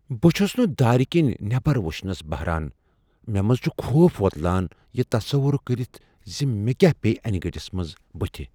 بہٕ چُھس نہٕ دارِ كِنۍ نیبر وُچھنس بہران، مےٚ منز چُھ خوف وۄتلان یہِ تصوُر كٔرِتھ زِ مےٚ كیاہ پییہ انہِ گٹِس منز بُتھہِ۔